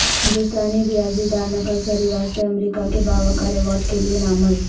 ہندوستانی ریاضی داں نکھل سریواستو امریکہ کے باوقار ایوارڈ کیلئے نامزد